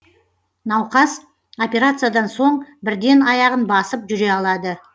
науқас операциядан соң бірден аяғын басып жүре алады